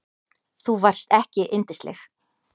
Þú varst ekki yndisleg.